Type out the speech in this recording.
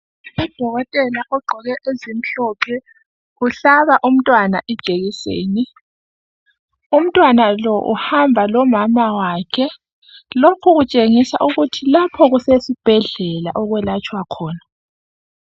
Udokotela ogqoke ezimhlophe uhlaba umntwana Ijekiseni . Umntwana lo uhamba lomama wakhe .Lokhu kutshengisa ukuthi lapho kusesibhedlela okwelatshwa khona.